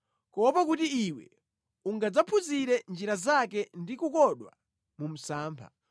kuopa kuti iwe ungadzaphunzire njira zake ndi kukodwa mu msampha.